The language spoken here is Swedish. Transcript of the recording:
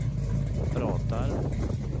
pratar